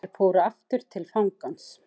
Þeir fóru aftur til fangans.